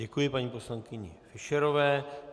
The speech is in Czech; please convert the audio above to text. Děkuji paní poslankyni Fischerové.